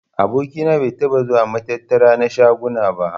Aboki na bai taɓa zuwa matattara na shaguna ba.